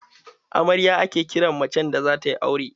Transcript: Amarya ake kiran macen da zata yi aure.